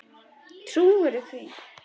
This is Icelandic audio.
Trúirðu því?